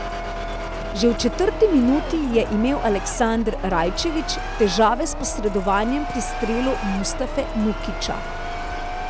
Že v četrti minuti je imel Aleksander Rajčević težave s posredovanjem pri strelu Mustafe Nukića.